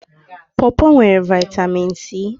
Pọpọ nwere Vị́tamị́n C